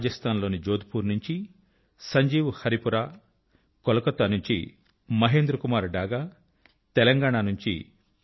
రాజస్థాన్ లోని జోధ్పుర్ నుంచి సంజీవ్ హరీపురా కోల్కత్తా నుంచి మహేంద్రకుమార్ డాగా తెలంగాణ నుంచి పి